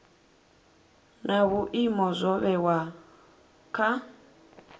na vhuimo zwo vhewaho kha